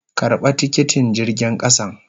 Karba tikiti jirgin kasan.